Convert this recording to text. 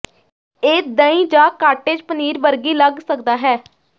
ਇਹ ਦਹੀਂ ਜਾਂ ਕਾਟੇਜ ਪਨੀਰ ਵਰਗੀ ਲੱਗ ਸਕਦਾ ਹੈ